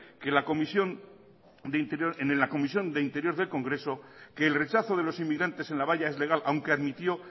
en la comisión de interior del congreso que el rechazo de los inmigrantes es legal aunque admitió